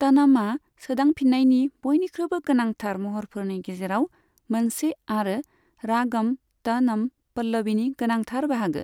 तनमआ सोदांफिननायनि बयनिख्रुइबो गोनांथार महरफोरनि गेजेराव मोनसे आरो रागम तनम पल्लवीनि गोनांथार बाहागो।